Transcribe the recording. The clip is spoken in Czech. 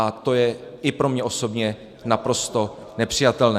A to je i pro mě osobně naprosto nepřijatelné.